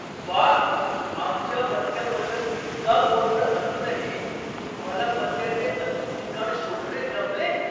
व्वा! आमच्या पत्त्याबद्दल इतका गोंधळ असूनही तुम्हाला पत्त्याचे अचूक ठिकाण शोधणे जमले.